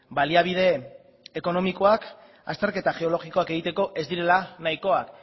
baliabide ekonomikoak azterketa geologikoak egiteko ez direla nahikoak